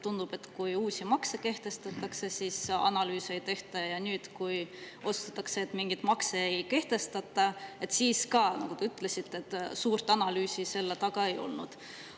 Tundub, et kui uusi makse kehtestatakse, siis analüüse ei tehta, ja nüüd, kui otsustatakse, et mingeid makse ei kehtestata, siis ka, nagu te ütlesite, suurt analüüsi selle taga ei olnud.